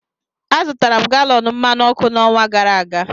Azụtara m galọn mmanụ ọkụ n'ọnwa gara aga